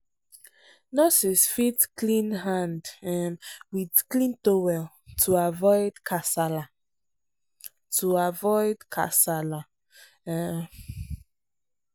nurses fit klean hand um with clean towel to avoid kasala. to avoid kasala. um